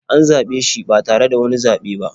An zaɓe shi ba tare da wani zaɓe ba